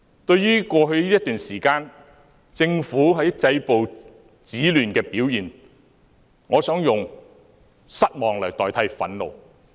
對於過去一段時間，政府止暴制亂的表現，我想用失望來代替憤怒。